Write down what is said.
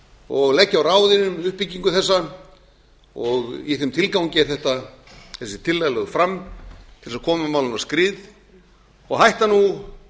og leggja á ráðin um uppbyggingu þessa og í þeim tilgangi er þessi tillaga lögð fram til að koma málinu á skrið og hætta nú